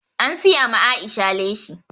An siya ma Aisha leshi